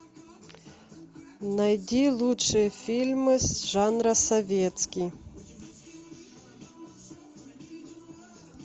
найди лучшие фильмы жанра советский